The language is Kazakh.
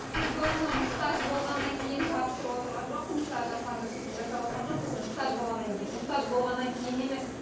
біз оны мұқтаж болғаннан кейін жабыстырып отырған жоқпыз мысалы жасанды кірпік жасап отырған жоқпыз мұқтаж болғаннан кейін мұқтаж болғаннан кейін емес